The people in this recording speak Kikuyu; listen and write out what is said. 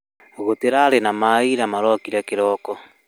Gũtirarĩ na maĩira marorire kĩroko